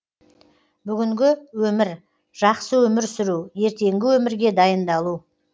бүгінгі өмір жақсы өмір сүру ертеңгі өмірге дайындалу